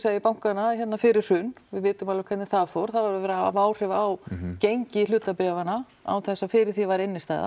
ég í bankana hérna fyrir hrun við vitum alveg hvernig það fór það var verið að hafa áhrif á gengi hlutabréfanna án þess að fyrir því væri